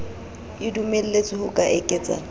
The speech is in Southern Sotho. e dumelletswe ho ka eketsa